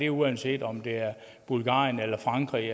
uanset om det er bulgarien eller frankrig